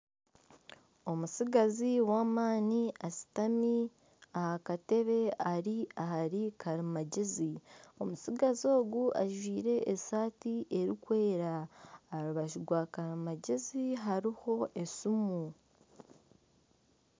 Omutsigazi w'amaani ashutami aha katebe ari ahari karimangyezi omutsigazi ogu ajwaire esaati erikwera aha rubaju rwa karimangyezi hariho esiimu.